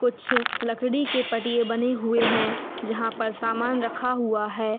कुछ लकड़ी के पटिए बने हुए है जहां पर सामान रखा हुआ है।